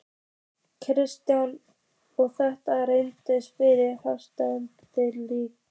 Kristinn: Og þetta er reiðarslag fyrir Flateyri?